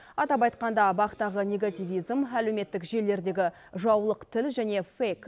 атап айтқанда бақ тағы негативизм әлеуметтік желілердегі жаулық тіл және фейк